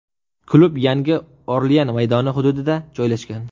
Klub Yangi Orlean maydoni hududida joylashgan.